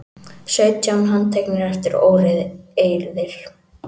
Sautján handteknir eftir óeirðir